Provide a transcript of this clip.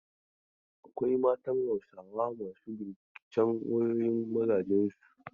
Akwai matan Hausawa masu binciken wayoyin mazajen su.